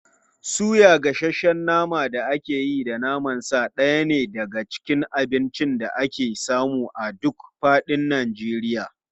Suya, gasasshen naman da aka yi da naman sa ɗaya ne daga cikin abincin da ake samu a duk faɗin Najeriya.